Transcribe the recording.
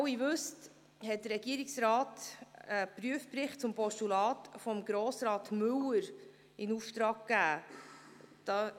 Wie Sie alle wissen, hat der Regierungsrat einen Prüfungsbericht zum Postulat von Grossrat Müller in Auftrag gegeben.